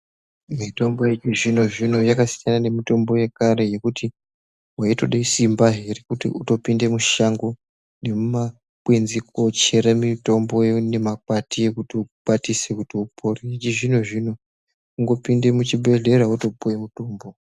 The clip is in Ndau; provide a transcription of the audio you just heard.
Mitombo yechizvinozvvino yakasiyana nemutombo yekare yekuti weitoda simbazve rekuti utopinda mushango wochera mitombo nemakwati kuti ukwatise kuti ipore yechizvino zvino kutipinda muchibhehleya wotopuwa mutombo.